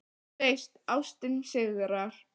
Þú veist: Ástin sigrar.